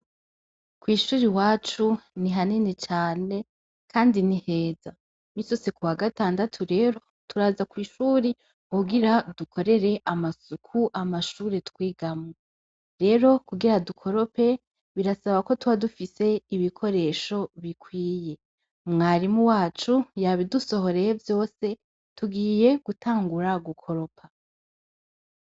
Kwishur'iwacu nihanini cane kandi niheza. Iminsi yose kuwa gatandatu rero, turaza kwishure kugira dukorere amasuk'amashure twigamwo. Rero kugira dukorope, birasaba ko tubadufis'ibikoresho bikwiye. Mwarimu wacu, yabidusohoreye vyose, tugire gutangura gukoropa.